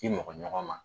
K'i mɔgɔ ɲɔgɔn ma